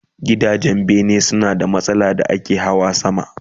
Gidajen bene suna da matakala da ake Hawa sama